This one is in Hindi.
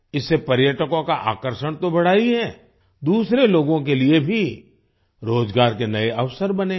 इससे पर्यटकों का आकर्षण तो बढ़ा ही है दूसरे लोगों के लिए भी रोजगार के नए अवसर बने हैं